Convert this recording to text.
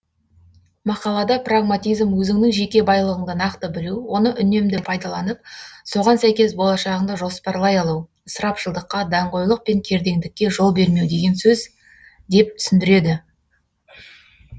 мақалада прагматизм өзіңнің жеке байлығыңды нақты білу оны үнемді пайдаланып соған сәйкес болашағыңды жоспарлай алу ысырапшылдыққа даңғойлық пен кердеңдікке жол бермеу деген сөз деп түсіндіреді